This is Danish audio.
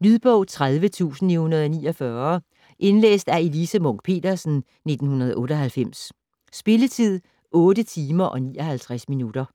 Lydbog 30949 Indlæst af Elise Munch-Petersen, 1998. Spilletid: 8 timer, 59 minutter.